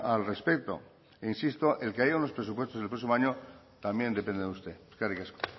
al respecto e insisto el que haya unos presupuestos el próximo año también depende de usted eskerrik asko